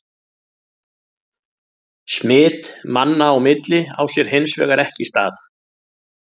Smit manna á milli á sér hins vegar ekki stað.